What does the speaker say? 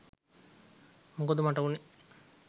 මොකද මට වුණේ